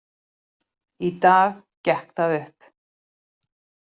Í dag gekk það upp.